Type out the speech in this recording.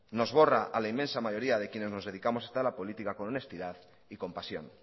nos borra a la inmensa mayoría de quienes nos dedicamos a la política con honestidad y compasión